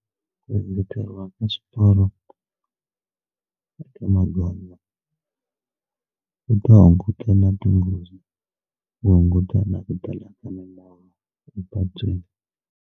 Ku engeteriwa ka swiporo eka magondzo ku ta hunguta na tinghozi ku hunguta na ku tala ka milawu epatwini.